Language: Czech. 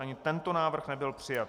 Ani tento návrh nebyl přijat.